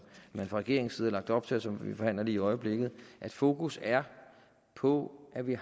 man fra regeringens side har lagt op til og som vi forhandler lige i øjeblikket at fokus er på at vi